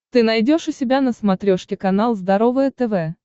ты найдешь у себя на смотрешке канал здоровое тв